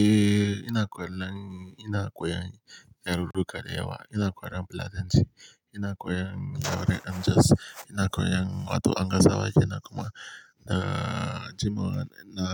Eh ina koyan lang, ina koyan yarurruka da yawa, ina koyan Fulatanci, ina koyan yare dan jos ina koyan wato angasawa ke nan kuma na jima na